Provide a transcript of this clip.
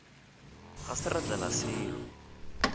ga se ra tlela selo